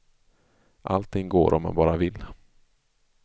Allting går om man bara vill.